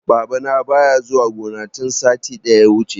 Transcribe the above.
Babana baya zuwa gona tun satin da ya wuce.